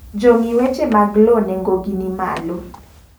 Jongi weche mag loo neng'o gi ni malo.